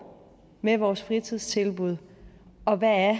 med vores fritidstilbud og hvad